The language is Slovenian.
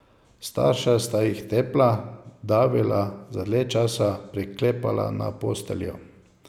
Starša sta jih tepla, davila, za dlje časa priklepala na posteljo.